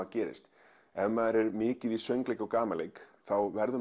gerist ef maður er mikið í söngleik og gamanleik verður